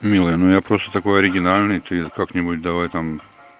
милая ну я просто такой оригинальный ты как-нибудь давай там